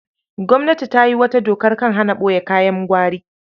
Gwamnati ta yi wata dokar kan hana ɓoye kayan gwari.